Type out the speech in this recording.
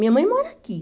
Minha mãe mora aqui.